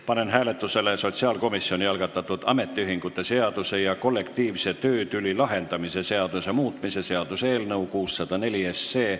Panen hääletusele sotsiaalkomisjoni algatatud ametiühingute seaduse ja kollektiivse töötüli lahendamise seaduse muutmise seaduse eelnõu 604.